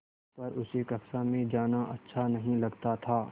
पर उसे कक्षा में जाना अच्छा नहीं लगता था